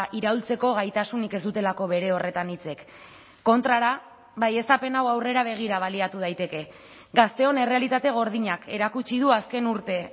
iraultzeko gaitasunik ez dutelako bere horretan hitzek kontrara baieztapen hau aurrera begira baliatu daiteke gazteon errealitate gordinak erakutsi du azken urte